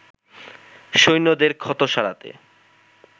সৈন্যদের ক্ষত সারাতে